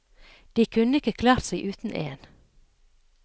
De kunne ikke klart seg uten én.